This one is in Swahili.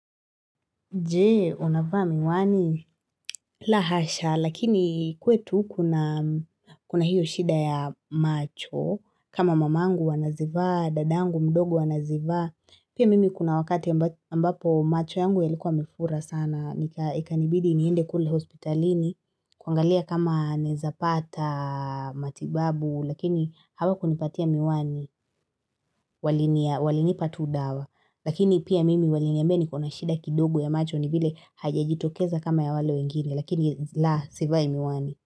Je, unavaa miwani la hasha, lakini kwetu kuna hiyo shida ya macho, kama mamangu anazivaa, dadangu mdogo anazivaa, pia mimi kuna wakati ambapo macho yangu yalikuwa yamefura sana, ikanibidi niende kule hospitalini, kuangalia kama naezapata matibabu, lakini hawakunipatia miwani, walinipa tu dawa, Lakini pia mimi waliniambia niko na shida kidogo ya macho ni vile haijajitokeza kama ya wale wengine lakini la sivai miwani.